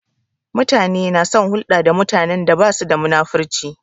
Mutane na son hulɗa da mutanen da basu da munafurci